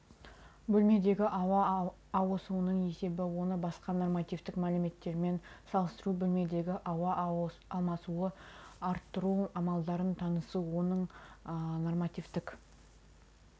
бөлмедегі ауа ауысуының есебі оны басқа нормативтік мәліметтермен салыстыру бөлмедегі ауа алмасуды арттыру амалдарымен танысу оны оның нормативтік